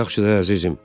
Yaxşıdır, əzizim.